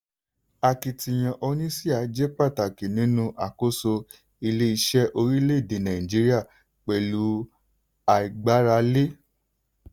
akitiyan oníṣíà ṣe pàtàkì nínú àkóso ilé-iṣẹ́ orílẹ̀-èdè nàìjíríà pẹ̀lú àìgbáralé.